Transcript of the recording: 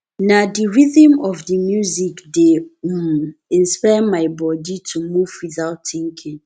na the rhythm of the music dey um inspire my body to move without thinking